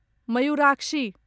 Mayurakshi